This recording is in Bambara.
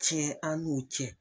Tiɲɛ an n'u cɛ.